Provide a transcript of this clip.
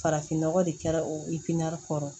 Farafin nɔgɔ de kɛra o kɔrɔ